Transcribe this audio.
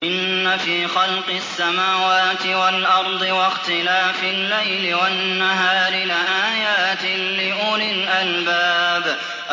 إِنَّ فِي خَلْقِ السَّمَاوَاتِ وَالْأَرْضِ وَاخْتِلَافِ اللَّيْلِ وَالنَّهَارِ لَآيَاتٍ لِّأُولِي الْأَلْبَابِ